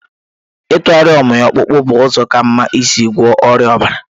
Ịtụgharị ụmị ọkpụkpụ bụ ụzọ ka mma isi gwọọ ọrịa ọbara.